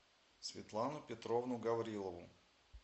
светлану петровну гаврилову